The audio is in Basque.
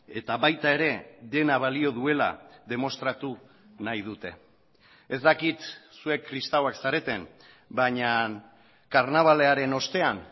eta baita ere dena balio duela demostratu nahi dute ez dakit zuek kristauak zareten baina karnabalaren ostean